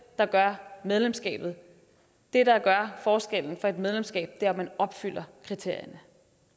der gør medlemskabet det der gør forskellen for et medlemskab er om man opfylder kriterierne